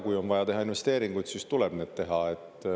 Kui on vaja teha investeeringuid, siis tuleb need teha.